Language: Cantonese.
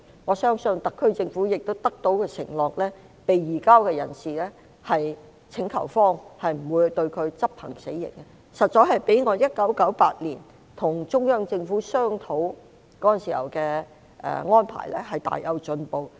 我相信特區政府亦得到承諾，請求方不會將被移交人士執行死刑，這實在較我1998年與中央政府商討時的安排有很大的進步。